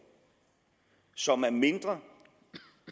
som er mindre